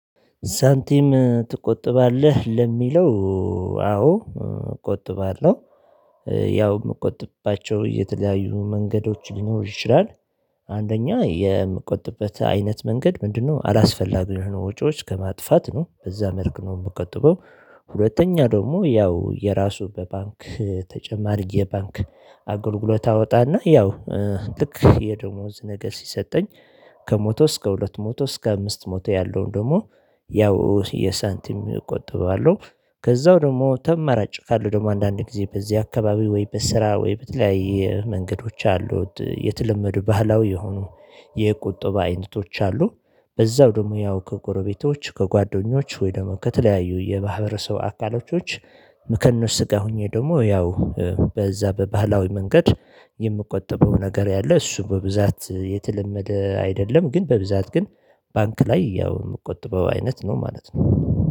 ሳንቲም ትቆጥባለህ ለሚለው? አዎ እቆጥባለሁ ያው የምቆጥባቸው የተለያዩ መንገዶች ሊኖር ይችላል። አንደኛ የምቆጥበት አይነት መንገድ ምንድነው? አላስፈላጊ ወጪዎች ከማጥፋት ነው በዛ መልኩ ነው የምቆጥበው። ሁለተኛ ደግሞ ያው የራሱ በባንክ ተጨማሪ የባንክ አጎልግሎት አወጣና ያው ልክ የደሞዝ ነገር ሲሰጠኝ ከመቶ እስከ ሁለት መቶ እስከ አምስት መቶ ያለውን ደግሞ ያው የሳንቲም እቆጥበዋለሁ። ከዛው ደግሞ ተመራጭ ካለው ደግሞ አንዳንድ ጊዜ በዚህ አካባቢ ወይ በስራ ወይ በተለያየ መንገዶች አሉ። የተለመዱ ባህላዊ የሆኑ የቁጠባ አይነቶች አሉ። በዛው ደግሞ ያው ከጎረቤቶች ከጓደኞች ወይ ደግሞ ከተለያዩ የማህበረሰብ አካላቶች። ከነሱ ጋር ሆኜ ደግሞ ያው በዛ በባህላዊ መንገድ የምቆጥበው ነገር ያለ እሱ በብዛት የተለመደ አይደለም። ግን በብዛት ግን ባንክ ላይ ያው የምትቆጥበው አይነት ነው ማለት ነው